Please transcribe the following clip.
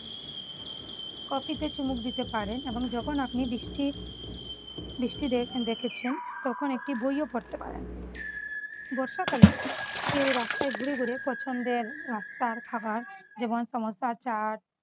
coffee তে চুমুক দিতে পারেন এবং যখন আপনি বৃষ্টির বৃষ্টিতে দেখেছেন তখন একটি বইও পড়তে পারেন। বর্ষাকালে কেউ রাস্তায় ঘুরে ঘুরে পছন্দের রাস্তার খাবার যেমন সামোসা চাট